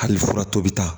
Hali furatɔ bɛ taa